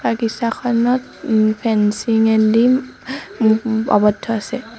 বাগিছাখনত ওম ফেঞ্চিং এদি মু মূ্ আৱদ্ধ আছে।